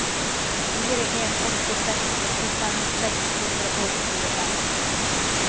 fire en åtte seks åttifem seks hundre og tjuefem